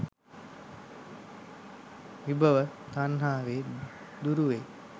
විභව තණ්හාවෙන් දුරුවෙයි.